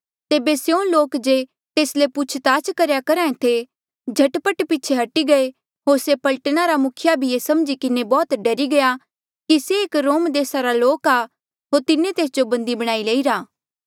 तेबे स्यों लोक जे तेस ले पूछ ताछ करेया करहा ऐें थे झट पट पीछे हटी गये होर से पलटना रा मुखिया भी ये समझी किन्हें बौह्त डरी गया कि से एक रोम देसा रा लोक आ होर तिन्हें तेस जो बंदी बणाईरा